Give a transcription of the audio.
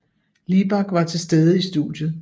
Libak var til stede i studiet